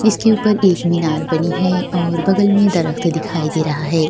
जिसके ऊपर एक मिनार बनी है और बगल मे दरक्त दिखाई दे रहा है।